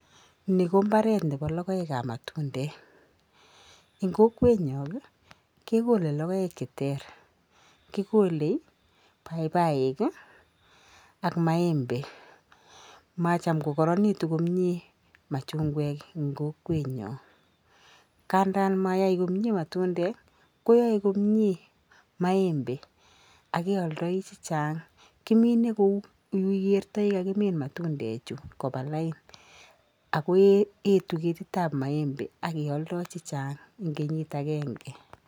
Ni ko imbaaretab logoekab matundek, eng kokwenyun kekole logoek cheter, kikole paipaik ak maembek. Macham kokaranitu komnye machungwek eng kokwenyo. Ngadan mayai komnyee matundek, koyae komnyee maembe ak kealdai chechang, kimine kou yu ikeertoi ole kiminda matundechu koba lain ako etu ketitab maembe ak kealdoi chechang eng kenyit agenge.